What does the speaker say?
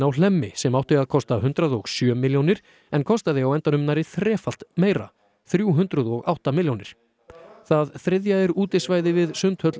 á Hlemmi sem átti að kosta hundrað og sjö milljónir en kostaði á endanum nærri þrefalt meira þrjú hundruð og átta milljónir það þriðja er útisvæði við Sundhöll